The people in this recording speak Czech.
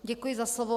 Děkuji za slovo.